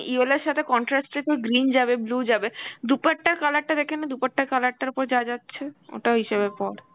yellow এর সাথে contrast এ তোর green যাবে, blue যাবে, দুপাট্টার color টা দেখে নে দুপাট্টার color টার ওপর যা যাচ্ছে ওটা হিসেবে পর.